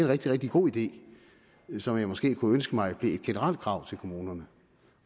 rigtig rigtig god idé som jeg måske kunne ønske mig blev et generelt krav til kommunerne